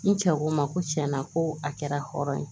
N cɛ ko n ma ko cɛn na ko a kɛra hɔrɔn ye